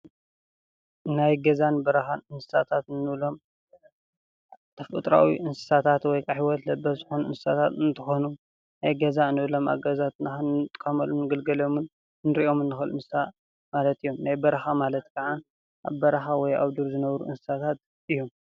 ናይ ገዛን በረካን እኒስሳታት እኒብሎሞ ተፈጥራዊ እነሳስት ወይካዓ ሂወተ ለበሰ ዘኮኑ እነስሳታት እኒትኮኑ ናይ ገዛ እኒስሳት እኒብሎኖ ኣብገዛ እኒጥቀምሎምኒ እኒርኦሞኒ ማላት አዮሞ፡፡ ናይ በረካ ማላተ ካዓ ኣበ በረካ ወይካዓ ኣብዶኖ ዘነብሩ እኒስሳት እዮሞ፡፡